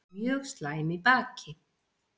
Mjög slæm í baki